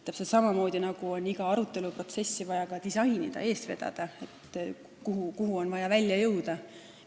Täpselt samamoodi on iga aruteluprotsessi vaja disainida ja eest vedada ning vaadata, kuhu on vaja välja jõuda.